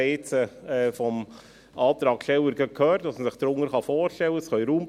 Wir haben jetzt vom Antragssteller gerade gehört, was man sich darunter vorstellen kann.